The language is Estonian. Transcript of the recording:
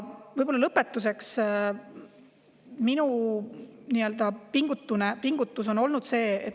Ja lõpetuseks minu nii-öelda pingutusest.